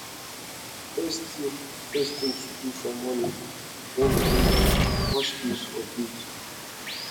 di first thing first thing to do for morning when we wake na to wash face or bath